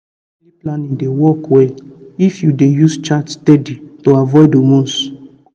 natural family planning dey work well if you dey use chart steady to avoid hormones.